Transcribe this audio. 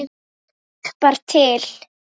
Hjálpar til.